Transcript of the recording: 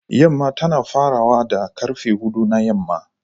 Yamma tana farawa da karfe hudu na yamma